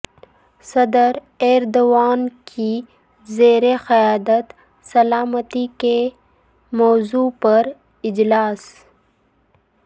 صدر ایردوان کی زیر قیادت سلامتی کے موضوع پراجلاس